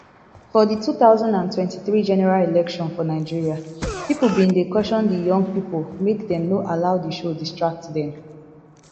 for di two thousand and twenty-three general election for nigeria pipo bin dey caution di young pipo make dem no allow di show distract dem